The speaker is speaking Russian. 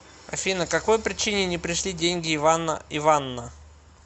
афина какой причине не пришли деньги ивана иванна